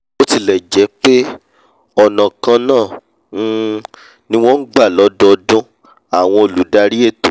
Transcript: bótilẹ̀jẹ́pé ọ̀nà kan náà um ni wọ́n ngbà lọ́dọọdún àwọn olùdarí ètò